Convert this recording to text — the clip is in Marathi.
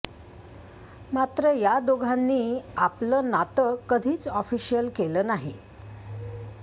मात्र या दोघांनी आपलं नातं कधीच ऑफिशिअल केलं नाही